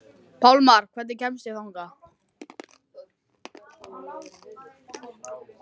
Pálmar, hvernig kemst ég þangað?